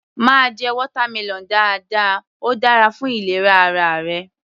Máa jẹ watermelon dáadáa, óò dára fún ìlera ara rẹ.